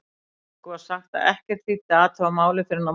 Okkur var sagt að ekkert þýddi að athuga málið fyrr en að morgni.